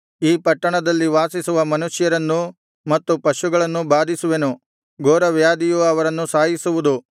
ಈ ಪಟ್ಟಣದಲ್ಲಿ ವಾಸಿಸುವ ಮನುಷ್ಯರನ್ನೂ ಮತ್ತು ಪಶುಗಳನ್ನೂ ಬಾಧಿಸುವೆನು ಘೋರವ್ಯಾಧಿಯು ಅವರನ್ನು ಸಾಯಿಸುವುದು